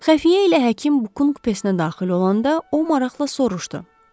Xəfiyə ilə həkim Bukun kupesinə daxil olanda o maraqla soruşdu.